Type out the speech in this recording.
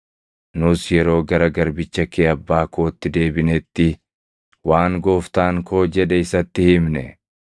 Nus yeroo gara garbicha kee abbaa kootti deebinetti waan gooftaan koo jedhe isatti himne.